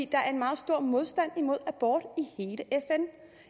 der er en meget stor modstand imod abort